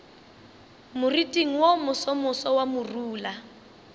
moriting wo mosomoso wa morula